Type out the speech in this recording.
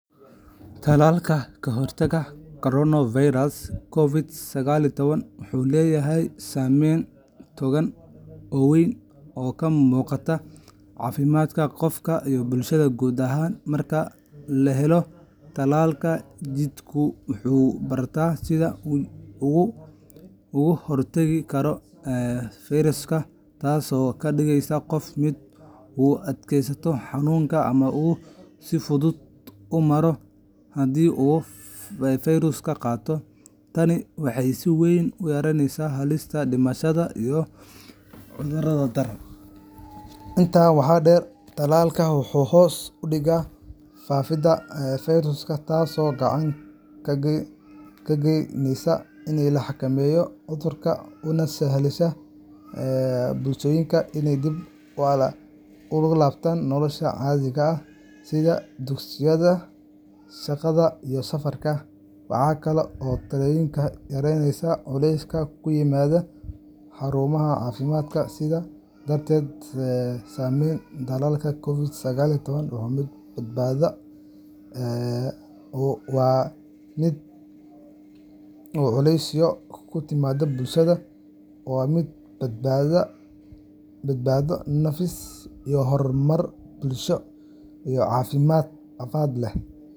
Tallaalka ka hortagga coronavirus COVID-19 wuxuu leeyahay saameyn togan oo weyn oo ka muuqata caafimaadka qofka iyo bulshada guud ahaan. Marka la helo tallaalka, jidhku wuxuu bartaa sida uu uga hortegi karo fayraska, taasoo ka dhigaysa qofka mid u adkaysta xanuunka ama uu si fudud u maro haddii uu fayraska qaado. Tani waxay si weyn u yaraysaa halista dhimashada iyo cudurrada daran. Intaa waxaa dheer, tallaalka wuxuu hoos u dhigaa faafidda fayraska, taasoo gacan ka geysaneysa in la xakameeyo cudurka una sahlaysa bulshooyinka inay dib ugu laabtaan nolosha caadiga ah sida dugsiyada, shaqada, iyo safarka. Waxaa kale oo tallaalku yareeyaa culeyska ku yimaada xarumaha caafimaadka. Sidaas darteed, saameynta tallaalka COVID-19 waa mid badbaado, nafis iyo horumar bulsho iyo caafimaadba leh.